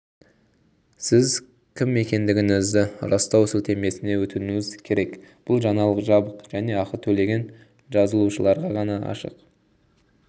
сіз кім екендігіңізді растау сілтемесіне өтуіңіз керек бұл жаңалық жабық және ақы төлеген жазылушыларға ғана ашық